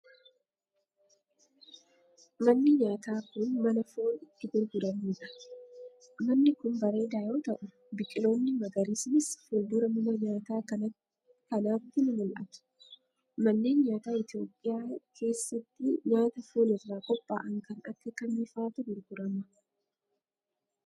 Manni nyaataa kun, mana foon itti gurguramuudha. Manni kun bareedaa yoo ta'u, biqiloonni magariisnis fuuldura mana nyaataa kanaatti ni mul'atu. Manneen nyaataa Itoophiyaa keessatti nyaata foon irraa qopha'an kan akka kamii faatu gurgurama?